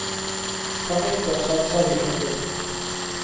Fra nyttår satser vi for fullt.